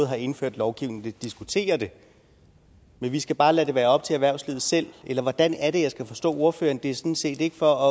har indført lovgivningen diskutere det men vi skal bare lade det være op til erhvervslivet selv eller hvordan er det jeg skal forstå ordføreren det er sådan set ikke for